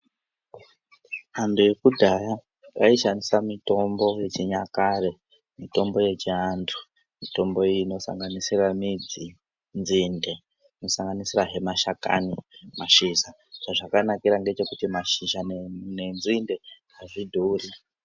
Antu ekudhaya vayishandisa mitombo yechinyakare, mitombo yechiandu. Mitombo iyi inosanganisira midzi, nzinde. Inosanganisirahe mashakani, mashisha, zvazvakanakira ndezvekuti mashizha nenzinde azvidhuri.